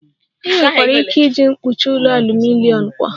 Ị nwekwara ike iji mkpuchi ụlọ aluminom kwa